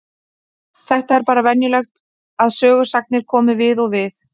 Þetta er bara venjulegt að sögusagnir komi við og við.